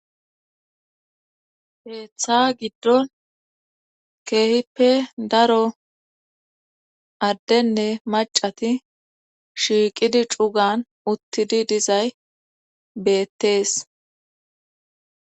heeththa giddon keehippe daro addenne macati shiiqidi cugan uttidi dizay beettees